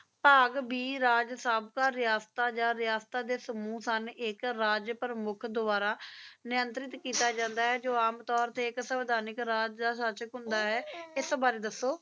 ਬਾਗ ਬੀ ਰਾਜ ਸਬ ਤਾ ਰਸਤਾ ਯਾ ਸਮੂਹ ਸਨ ਇਕ ਰਾਜ ਪ੍ਰਮੁਖ ਦੁਆਰਾ ਨਿਰੰਤਰ ਕੀਤਾ ਜਾਂਦਾ ਜੋ ਆਮ ਥੋਰ ਤੇ ਇੱਕ ਸਵਧਾਨਿਕ ਰਾਜ ਆ ਸਾਚਕ ਹੁੰਦਾ ਹੈ ਇਸ ਬਾਰੇ ਦਸੋ